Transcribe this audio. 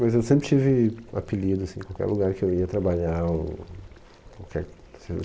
Mas eu sempre tive apelido, assim, em qualquer lugar que eu ia trabalhar ou, qualquer